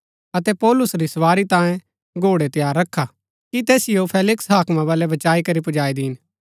अतै पौलुस री सवारी तांयें घोड़ै तैयार रखा कि तैसिओ फेलिक्स हाकमा बलै बचाई करी पुजाई दिन